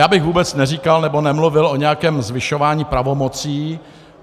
Já bych vůbec neříkal nebo nemluvil o nějakém zvyšování pravomocí.